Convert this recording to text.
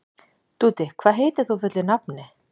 Dúddi, hvað heitir þú fullu nafni?